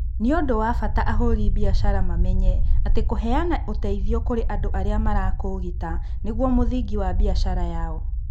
Nĩ ũndũ wa bata ahũri biacara mamenye atĩ kũheana ũteithio kũrĩ andũ arĩa marakũũgita nĩguo mũthingi wa biacara yao.